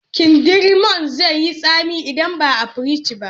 Kindirmon zai yi tsami idan baa fringe ba